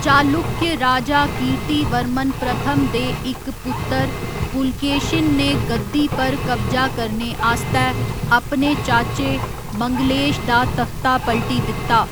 चालुक्य राजा कीर्तिवर्मन प्रथम दे इक पुत्तर पुलकेशिन ने गद्दी पर कब्जा करने आस्तै अपने चाचे मंगलेश दा तख्ता पलटी दित्ता।